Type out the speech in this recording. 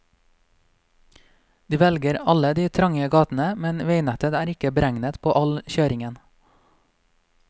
De velger alle de trange gatene, men veinettet er ikke beregnet på all kjøringen.